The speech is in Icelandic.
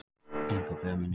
Einhver blöð muni deyja